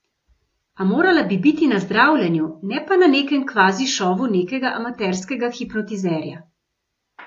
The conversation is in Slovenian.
A morala bi biti na zdravljenju, ne pa na nekem kvazi šovu nekega amaterskega hipnotizerja.